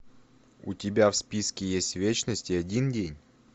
у тебя в списке есть вечность и один день